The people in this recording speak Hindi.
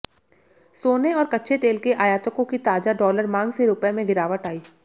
सोने और कच्चे तेल के आयातकों की ताजा डॉलर मांग से रुपये में गिरावट आई